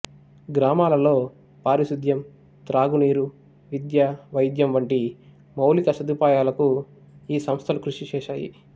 గ్రామాలలో పారిశుధ్యం త్రాగునీరు విద్య వైద్యం వంటి మౌలిక సదుపాయాలకు ఈ సంస్థలు కృషి చేశాయి